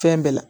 Fɛn bɛɛ la